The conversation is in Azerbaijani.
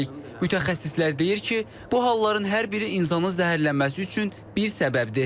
Mütəxəssislər deyir ki, bu halların hər biri insanın zəhərlənməsi üçün bir səbəbdir.